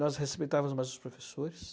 Nós respeitávamos mais os professores.